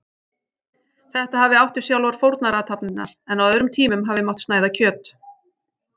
Þetta hafi átt við sjálfar fórnarathafnirnar, en á öðrum tímum hafi mátt snæða kjöt.